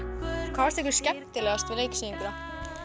hvað fannst ykkur skemmtilegast við leiksýninguna